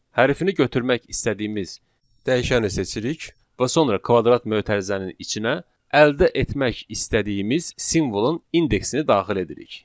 Hərfini götürmək istədiyimiz dəyişəni seçirik və sonra kvadrat mötərizənin içinə əldə etmək istədiyimiz simvolun indeksini daxil edirik.